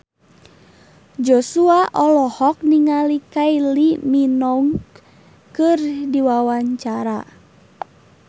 Joshua olohok ningali Kylie Minogue keur diwawancara